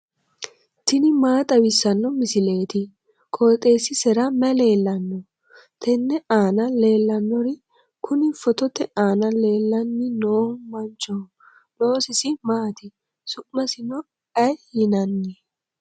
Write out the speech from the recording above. tini maa xawissanno misileeti? qooxeessisera may leellanno? tenne aana leellannori kuni footote aana leellanni noohu manchoho. loosisi maati? su'masino ayi yinanni?